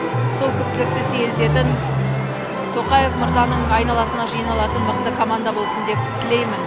сол күптілікті сейілтетін тоқаев мырзаның айналасына жиналатын мықты команда болсын деп тілеймін